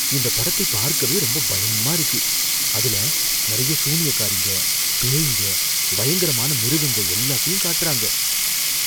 இந்தப் படத்தை பார்க்கவே ரொம்ப பயமா இருக்கு. அதுல நறைய சூனியக்காரிங்க, பேய்ங்க, பயங்கரமான மிருகங்க எல்லாத்தையும் காட்டுறாங்க.